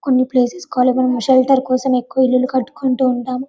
కొన్ని places shelter కోసం ఎక్కువ ఇల్లల్లు కట్టుకుంటూ ఉంటాము --